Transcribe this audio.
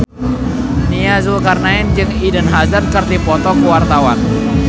Nia Zulkarnaen jeung Eden Hazard keur dipoto ku wartawan